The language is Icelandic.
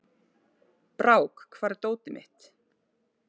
Brák, hvar er dótið mitt?